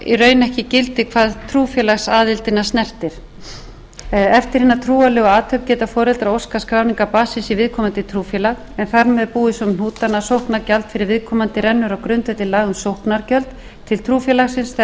ekki gildi hvað trúfélagsaðildina snertir eftir hina trúarlegu athöfn geta foreldrar óskað skráningar barnsins í viðkomandi trúfélag en þar með búið svo um hnútana að sóknargjald fyrir viðkomandi rennur á grundvelli laga um sóknargjöld til trúfélagsins þegar